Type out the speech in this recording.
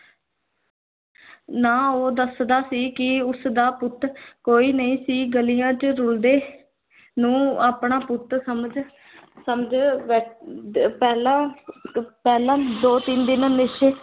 ਨਾ ਉਹ ਦੱਸਦਾ ਸੀ ਕਿ ਉਸਦਾ ਪੁੱਤ ਕੋਈ ਨਹੀਂ ਸੀ ਗਲੀਆਂ ਚ ਰੁੱਲਦੇ ਨੂੰ ਆਪਣਾ ਪੁੱਤ ਸਮਝ ਸਮਝ ਬੈ ਅਮ ਦ ਪਹਿਲਾਂ ਪਹਿਲਾਂ ਦੋ ਤਿੰਨ ਦਿਨ ਨਸ਼ੈ